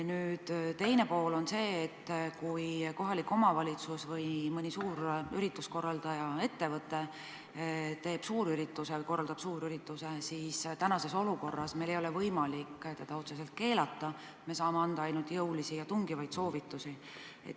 Nüüd teine pool on see, kui kohalik omavalitsus või mõni ürituste korraldaja, ettevõte teeb suurürituse – sellisel juhul meil tänases olukorras ei ole võimalik seda otseselt keelata, me saame anda ainult jõulisi ja tungivaid soovitusi.